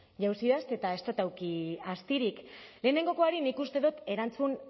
jauzi eta ez dot eduki astirik lehenengokoari nik uste dot erantzun